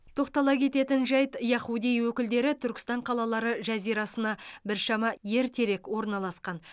тоқтала кететін жайт яхудей өкілдері түркістан қалалары жазирасына біршама ертерек орналасқан